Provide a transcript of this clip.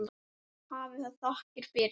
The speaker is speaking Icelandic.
Hafi það þakkir fyrir.